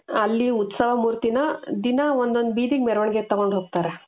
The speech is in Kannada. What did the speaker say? ಅಲ್ಲಿ ಉತ್ಸವ ಮೂರ್ತಿನ ದಿನಾ ಒಂದೊಂದ್ ಬೀದಿಗೆ ಮೆರವಣಿಗೆ ತಗೊಂಡ್ ಹೋಗ್ತಾರೆ .